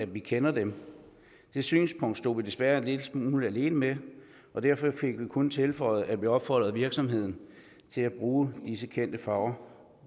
vi kender dem det synspunkt stod vi desværre en lille smule alene med og derfor fik vi kun tilføjet at vi opfordrede virksomheden til at bruge disse kendte farver